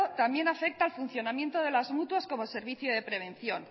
también afecta al funcionamiento de las mutuas como servicio de prevención